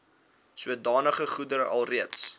sodanige goedere alreeds